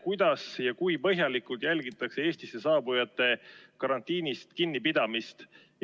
Kuidas ja kui põhjalikult jälgitakse Eestisse saabujate karantiinist kinnipidamist?